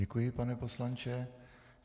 Děkuji, pane poslanče.